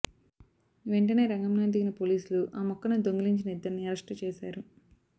వెంటనే రంగంలోకి దిగిన పోలీసులు ఆ మొక్కను దొంగిలించిన ఇద్దరిని అరెస్ట్ చేశారు